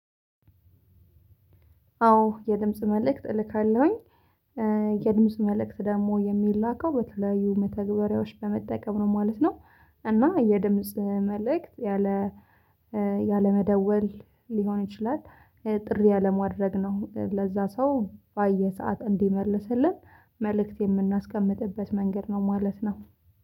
አዎ የድምጽ መልእክት እልካለሁኝ። የድምጽ መልእክት ደግሞ የሚላከው በተለያዩ መተግበሪያዎች በመጠቀም ነው ማለት ነው። እና የድምጽ መልእክት ያለ ያለመደወል ሊሆን ይችላል ጥሪ ያለማድረግ ነው። ለዛ ሰው ባየው ሰዓት እንዲመልስልን መልእክት የምናስቀምጥበት መንገድ ነው ማለት ነው።